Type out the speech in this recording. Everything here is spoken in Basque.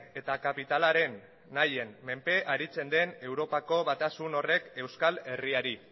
eta kapitalaren nahien menpe aritze den europako batasun horrek euskal herriari